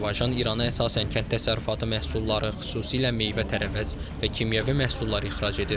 Azərbaycan İrana əsasən kənd təsərrüfatı məhsulları, xüsusilə meyvə-tərəvəz və kimyəvi məhsullar ixrac edir.